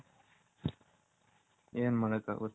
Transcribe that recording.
N ಮಾಡಕ್ ಅಗುತೆ .